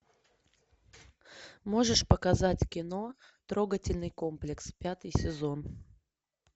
можешь показать кино трогательный комплекс пятый сезон